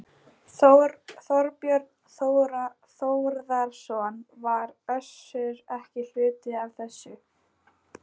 Þorbjörn Þórðarson: Var Össur ekki hluti af þessu?